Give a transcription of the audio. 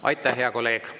Aitäh, hea kolleeg!